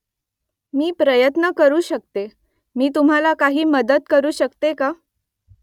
मी प्रयत्न करू शकते . मी तुम्हाला काही मदत करू शकते का ?